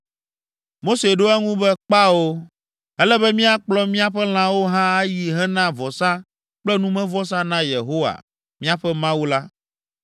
Mose ɖo eŋu be, “Kpao, ele be míakplɔ míaƒe lãwo hã ayi hena vɔsa kple numevɔsa na Yehowa, míaƒe Mawu la.